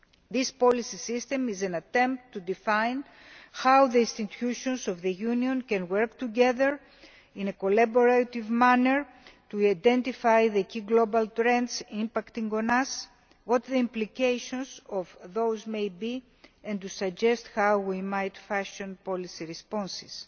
This policy system is an attempt to define how the institutions of the Union can work together in a collaborative manner to identify the key global trends impacting on us, what the implications of those may be, and to suggest how we might fashion policy responses.